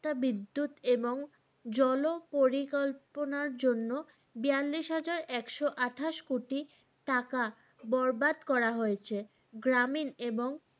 বিদ্যুৎ এবং জল পরিকল্পনার জন্য বিয়ালিশ হাজার এক্স আঠাশ কোটি টাকা বরবাদ করা হয়েছে